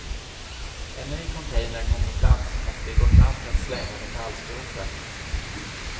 En ny container kom på plats och vi går fram för att slänga metallskrotet.